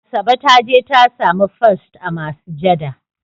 Asabe ta je ta sami first a masujada.